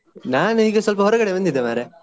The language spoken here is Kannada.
ನಾನು ಈಗ ಸ್ವಲ್ಪ ಹೊರಗಡೆ ಬಂದಿದ್ದೆ ಮಾರ್ರೆ.